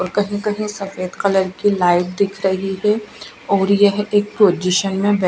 और कहीं कहीं सफेद कलर की लाइट दिख रही है और यह एक पोजीशन में बै--